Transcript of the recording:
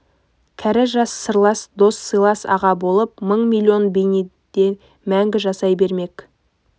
кәрі жас сырлас дос сыйлас аға болып мың-миллион бейнеде мәңгі жасай бермек